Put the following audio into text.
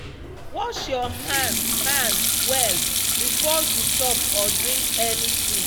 wash your hand hand well before you chop or drink anything.